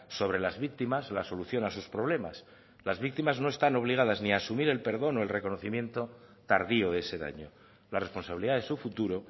sobre las víctimas la solución a sus problemas las víctimas no están obligadas ni asumir el perdón o el reconocimiento tardío de ese daño la responsabilidad de su futuro